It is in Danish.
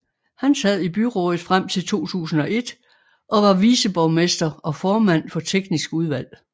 Han sad i byrådet frem til 2001 og var viceborgmester og formand for teknisk udvalg